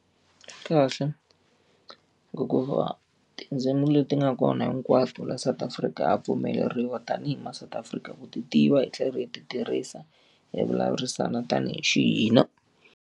Swi kahle. Hikuva tindzimi leti nga kona hinkwato laha South Afrika a pfumeleriwa tanihi ma South Afrika ku ti tiva hi tlhela hi ti tirhisa hi vulavurisana tanihi xi hina.